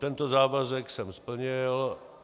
Tento závazek jsem splnil.